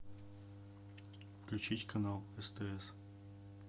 включить канал стс